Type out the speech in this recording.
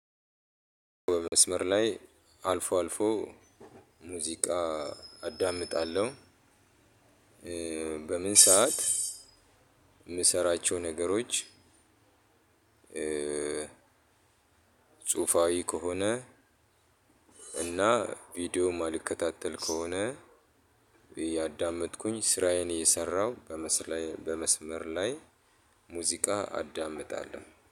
በመስመር ላይ አልፎ አልፎ ሙዚቃ አዳምጣለሁ፣ በምን ሰዓት የምሰራቸው ነገሮች ጽሁፋዊ ከሆነ እና ቪዲዮ የማልከታተል ከሆነ እየዳመጥኩኝ ስራዬን እየሰራሁ በመስመር ላይ ሙዚቃ አዳምጣለሁ።